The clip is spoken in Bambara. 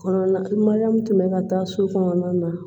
Kɔnɔna min tun bɛ ka taa so kɔnɔna na